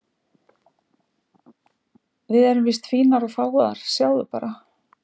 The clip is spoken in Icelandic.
Víst erum við fínar og fágaðar, sjáðu bara.